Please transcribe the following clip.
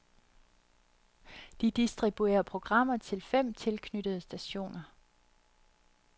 De distribuerer programmer til fem tilknyttede stationer.